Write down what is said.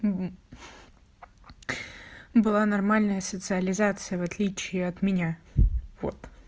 была нормальная социализация в отличие от меня вот